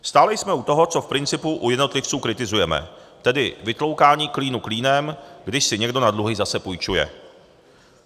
Stále jsme u toho, co v principu u jednotlivců kritizujeme, tedy vytloukání klínu klínem, když si někdo na dluhy zase půjčuje.